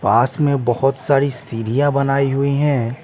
पास में बहुत सारी सीढ़ियाँ बनाई हुई हैं ।